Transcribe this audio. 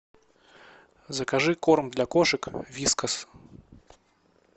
закажи корм для кошек вискас